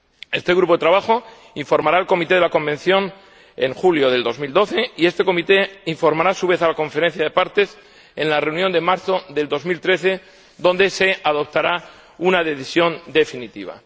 Este grupo de trabajo informará al Comité Permanente de la Convención en julio de 2012 y este Comité informará a su vez, a la Conferencia de Partes, en la reunión de marzo de 2013, en la que se adoptará una decisión definitiva.